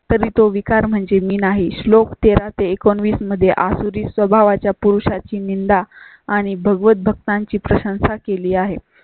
तरी तो विकार म्हणजे मी नाही. श्लोक तेरा ते एकोणावीस मध्ये आसुरी स्वभावा च्या पुरुषा ची निंदा आणि भगवंत भक्ता ची प्रशंसा केली आहे.